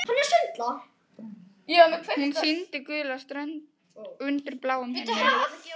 Hún sýndi gula strönd undir bláum himni.